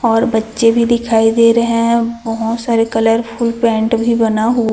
और बच्चे भी दिखाई दे रहे है बहोत सारे कलरफुल पेंट भी बना हु--